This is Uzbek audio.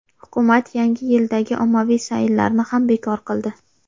Hukumat Yangi yildagi ommaviy sayillarni ham bekor qildi.